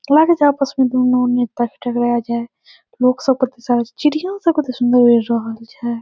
लागे छे आपस में दुनू बुक सब चिड़ियां सब कते सुन्दर रहल छे।